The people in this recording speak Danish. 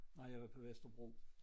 Nej jeg var på Vesterbro